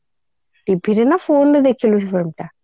TV ରେ ନା phone ରେ ଦେଖିଲୁ ସେ film ଟା